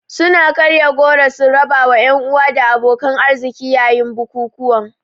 Suna karya goro sun rabawa 'yan uwa da abokan arziki yayin bukukuwan.